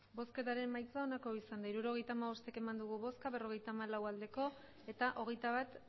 emandako botoak hirurogeita hamabost bai berrogeita hamalau abstentzioak hogeita bat